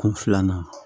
Kun filanan